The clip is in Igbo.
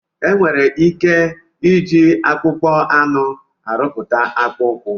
Enwere ike iji akpụkpa anụ arụpụta akpụ ụkwụ.